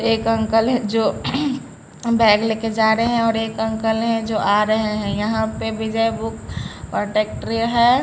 एक अंकल है जो बैग लेकर जा रहे है और एक अंकल है जो आ रहे है यहां पे विजय बुक और टेक्टरी है।